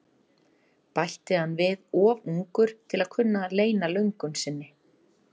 bætti hann við, of ungur til að kunna að leyna löngun sinni.